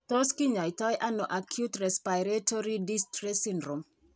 Tos kinyaita ano Acute respiratory distress syndrome ?